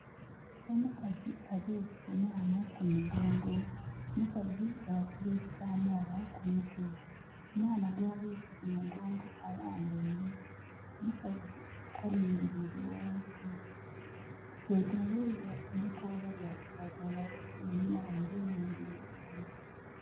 Omukazi abeese omwana ku mugongo. Omukazi yaasiba ekitambaala ku mutwe. Omwana gwabeese ku mugongo alambaile. Omukazi alingiliire ghansi. Betoloirwa ebikoola bya kiragala, einhuma ghaibwe nh'emberi ghiabwe.